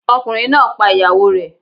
Ọkùnrin náà pa ìyàwó rẹ̀.